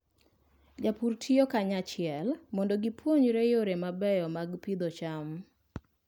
Jopur tiyo kanyachiel mondo gipuonjre yore mabeyo mag pidho cham.